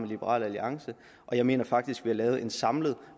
liberal alliance og jeg mener faktisk at vi har lavet en samlet